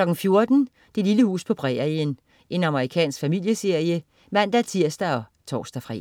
14.00 Det lille hus på prærien. Amerikansk familieserie (man-tirs og tors-fre)